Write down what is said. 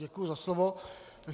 Děkuji za slovo.